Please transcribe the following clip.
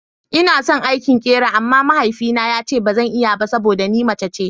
Ina son aikin ƙera amma mahaifina yace bazan iya ba saboda ni mace ce.